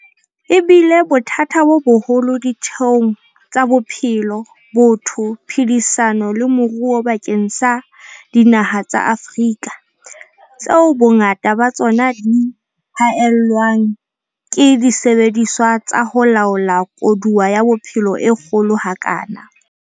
E bile bothata bo boholo ditheong tsa bophelo, botho, phedisano le moruo bakeng sa dinaha tsa Afrika, tseo bongata ba tsona di haellwang ke disebediswa tsa ho laola koduwa ya bophelo e kgolo ha kana.